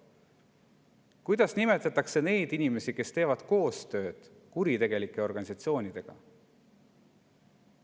Kuidas nimetatakse inimesi, kes teevad koostööd kuritegelike organisatsioonidega?